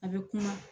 A bɛ kuma